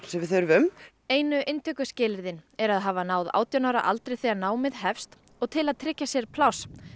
sem við þurfum einu inntökuskilyrði eru að hafa náð átján ára aldri þegar námið hefst og til að tryggja sér pláss